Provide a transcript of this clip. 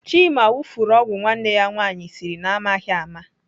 Chima wufuru ọgwụ nwanne ya nwaanyị siri na amaghị ama.